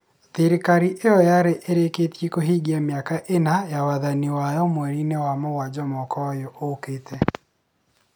Thirikari ĩyo yarĩ ĩrĩkĩtie kũhingia mĩaka ĩna ya wathani wayo mweri-inĩ wa mũgwanja mwaka ũyũ ũkĩte.